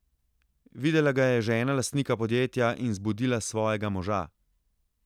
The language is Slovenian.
Videla ga je žena lastnika podjetja in zbudila svojega moža.